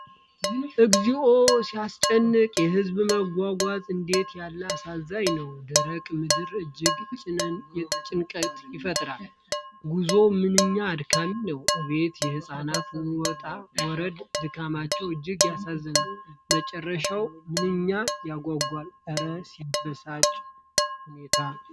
እግዚኦ ሲያስጨንቅ! የሕዝቡ መጓዝ እንዴት ያለ አሳዛኝ ነው! ደረቁ ምድር እጅግ ጭንቀትን ይፈጥራል። ጉዞው ምንኛ አድካሚ ነው! አቤት የሕይወት ውጣ ውረድ! ድካማቸው እጅግ ያሳዝናል! መጨረሻው ምንኛ ያጓጓል! እረ ሲያበሳጭ ሁኔታ!